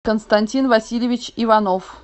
константин васильевич иванов